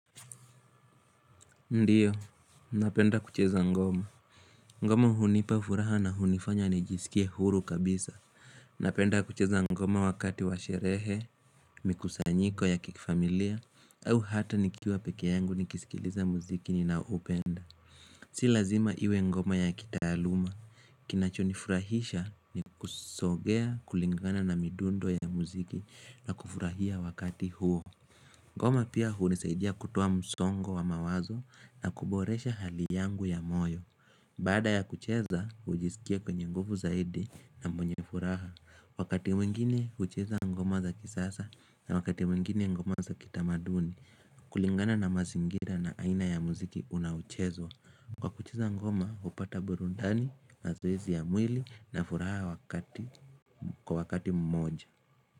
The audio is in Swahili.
Ndiyo, napenda kucheza ngoma. Ngoma hunipa furaha na hunifanya nijisikie huru kabisa. Napenda kucheza ngoma wakati wa sherehe, mikusanyiko ya kifamilia, au hata nikiwa pekee yangu nikisikiliza muziki nina upenda. Si lazima iwe ngoma ya kitaaluma. Kinachonifurahisha ni kusogea kulingana na midundo ya muziki na kufurahia wakati huo. Ngoma pia hunisaidia kutuoa msongo wa mawazo na kuboresha hali yangu ya moyo Baada ya kucheza, hujisikia kwenye nguvu zaidi na mwenye furaha. Wakati mwingine, kucheza ngoma za kisasa na wakati mwingine ngoma za kitamaduni kulingana na mazingira na aina ya muziki unaochezwa. Kwa kucheza ngoma, hupata burudani, mazoezi ya mwili na furaha kwa wakati mmoja.